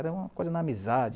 Era uma coisa na amizade.